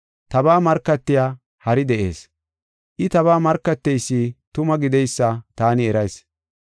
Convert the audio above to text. Tabaa markatiya hari de7ees; I tabaa markateysi tuma gideysa taani erayis.